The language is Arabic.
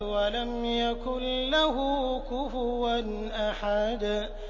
وَلَمْ يَكُن لَّهُ كُفُوًا أَحَدٌ